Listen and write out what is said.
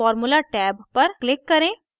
formula tab पर click करें